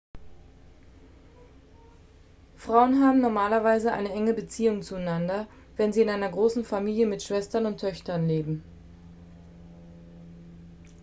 frauen haben normalerweise eine enge beziehung zueinander wenn sie in einer großen familie mit schwestern und töchtern leben